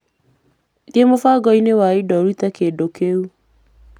Thiĩ mũbango-inĩ wa indo ũcoke ũrute kĩndũ kĩu.